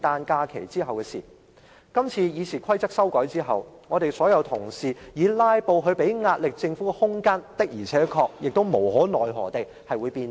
假如今次《議事規則》成功被修改，所有議員日後透過"拉布"向政府施壓的空間，必定會無可奈何地被收窄。